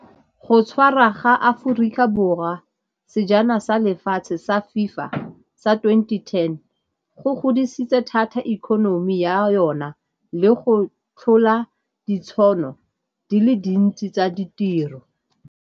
Go tshwara ga Aforika Borwa sejana sa lefatshe sa FIFA sa twenty-ten, go godisitse thata economy ya yona le go tlhola ditšhono di le dintsi tsa ditiro.